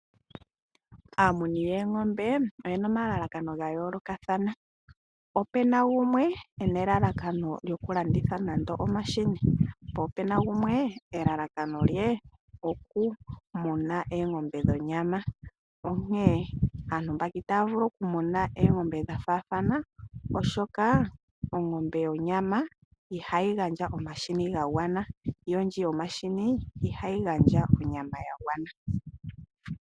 Aamuni yoongombe oyena omalalakano ga yoolokathana. Ope na gumwe ena elalakano lyokulanditha nande omashini, po opena gumwe elalakano lye okumuna oongombe dhonyama. Onkene aantu mbaka itaya vulu okumuna oongombe dha faathana, osjoka ongombe yonyama ihayi gandja omahini ga gwana. Yo ndji yomahini ihayi gandja onyama ya gwana.